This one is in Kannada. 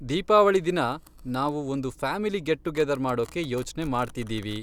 ದೀಪಾವಳಿ ದಿನ ನಾವು ಒಂದ್ ಫ್ಯಾಮಿಲಿ ಗೆಟ್ ಟುಗೆದರ್ ಮಾಡೋಕೆ ಯೋಚ್ನೆ ಮಾಡ್ತಿದ್ದೀವಿ.